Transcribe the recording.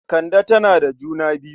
Kande tana da juna biyu.